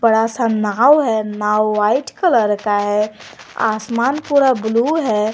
बड़ा सा नाव है नाव व्हाइट कलर का है आसमान पूरा ब्लू है।